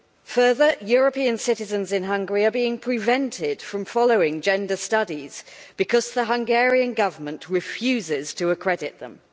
Further, European citizens in Hungary are being prevented from following gender studies because the Hungarian Government refuses to accredit them.